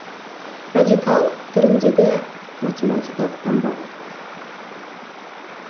радикал түріндегі математикалық таңба